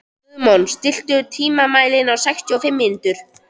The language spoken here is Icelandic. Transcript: Guðmon, stilltu tímamælinn á sextíu og fimm mínútur.